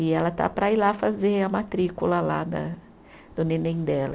E ela está para ir lá fazer a matrícula lá da do neném dela.